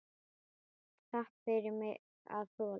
Takk fyrir mig að þola.